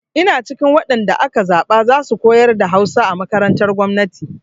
Ina cikin waɗan da aka zaɓa za su koyar da Hausa a makarantar gwamnati.